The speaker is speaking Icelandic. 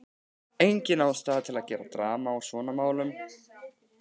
Engin ástæða til að gera drama úr svona smámunum.